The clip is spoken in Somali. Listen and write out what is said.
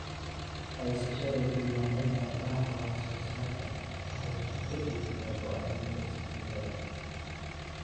Haysashada diiwaannada raadraaca wax-soo-saarka waxay gacan ka geysataa go'aaminta isbeddellada.